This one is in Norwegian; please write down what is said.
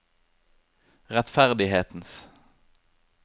rettferdighetens